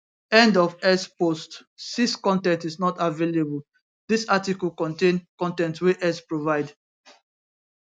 end of x post 6 con ten t is not available dis article contain con ten t wey x provide